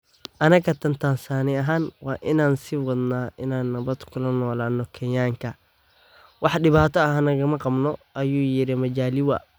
Anaga Tan Tansaaniya ahaan waa inaan sii wadnaa inaan nabad kula noolaano Kenyaanka, wax dhibaato ah nagama qabno, ayuu yiri Majaliwa.